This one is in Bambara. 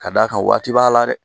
Ka d'a kan waati b'a la dɛ